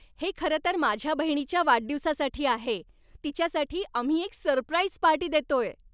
हे खरं तर माझ्या बहिणीच्या वाढदिवसासाठी आहे. तिच्यासाठी आम्ही एक सरप्राईज पार्टी देतोय.